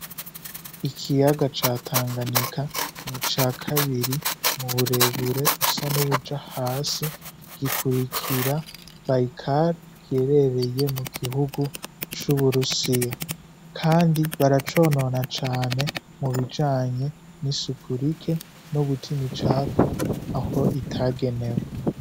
Ikiyaga catanganika ni ca kabiri mu burebure busa n'ubuja hasi gikurikira bayikali kyerereye mu gihugu c'uburusiya, kandi baraconona cane mu bijanye n'i sukurike n'ugutima icapfu aho itagenewo.